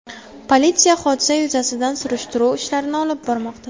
Politsiya hodisa yuzasidan surishtiruv ishlarini olib bormoqda.